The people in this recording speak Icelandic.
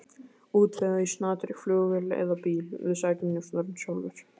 Útvegaðu í snatri flugvél eða bíl, við sækjum njósnarann sjálfir.